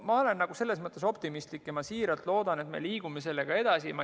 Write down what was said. Ma olen selles mõttes optimistlik ja siiralt loodan, et me liigume sellega edasi.